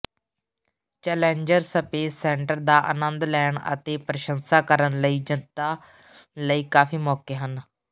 Challenger space centre ਦਾ ਆਨੰਦ ਲੈਣ ਅਤੇ ਪ੍ਰਸ਼ੰਸਾ ਕਰਨ ਲਈ ਜਨਤਾ ਲਈ ਕਾਫੀ ਮੌਕੇ ਹਨ